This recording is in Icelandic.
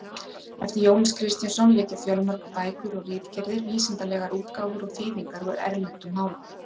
Eftir Jónas Kristjánsson liggja fjölmargar bækur og ritgerðir, vísindalegar útgáfur og þýðingar úr erlendum málum.